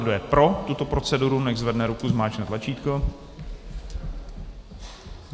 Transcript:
Kdo je pro tuto proceduru, nechť zvedne ruku, zmáčkne tlačítko.